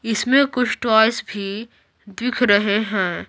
इसमें कुछ टॉइस भी दिख रहे हैं।